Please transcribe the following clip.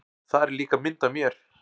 Þar er líka mynd af mér.